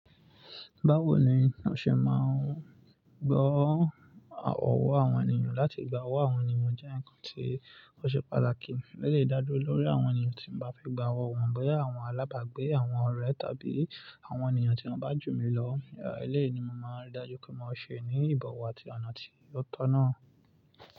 Báwo ni n ó ṣe máa ń gbọ́ ọ̀wọ́ àwọn ènìyàn láti gba ọwọ́ àwọn ènìyàn jẹ́ ǹkan tí ó ṣe pàtàkì. Ó lè dáduro lórí àwọn ènìyàn tí mo bá fẹ́ gba ọwọ́ wọn, bí i àwọn alábàágbé, àwọn ọ̀rẹ́ tàbí àwọn ènìyàn tí wọ́n bá jù mí lọ. Eléyìí ni mo máa ń ridájú pé mo ma ṣe ní ìbọ̀wọ̀ àti ọ̀nà tí yóò tọ̀nà.